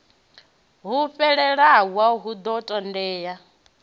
ho fhelelaho hu ḓo ṱoḓea